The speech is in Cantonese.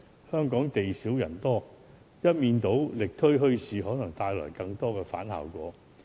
香港地小人多，一面倒力推墟市，可能帶來反效果。